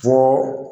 To